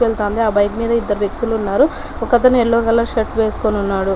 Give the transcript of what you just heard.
వెళ్తుంది ఆ బైక్ మీద ఇద్దరు వ్యక్తులు ఉన్నారు ఒకతను యెల్లో కలర్ షర్ట్ వేసుకుని ఉన్నాడు.